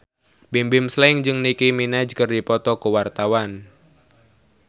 Bimbim Slank jeung Nicky Minaj keur dipoto ku wartawan